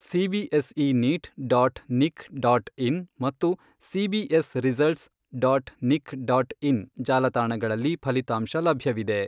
CBSE NEET dot nic dot in ಮತ್ತು CBSE results dot nic dot in ಜಾಲತಾಣಗಳಲ್ಲಿ ಫಲಿತಾಂಶ ಲಭ್ಯವಿದೆ.